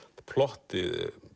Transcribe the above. plottið